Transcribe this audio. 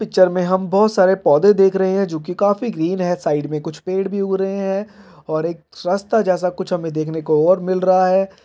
Picture में हम बहुत सारे पौधे देख रहे हैं जो कि काफी ग्रीन हैं साइड में कुछ पेड़ भी ऊग रहे हैं और एक रास्ता जैसा कुछ हमें देखने को और मिल रहा हैं।